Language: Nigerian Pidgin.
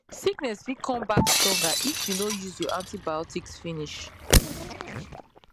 sickness fit come back stronger if you no use your your antibiotics finish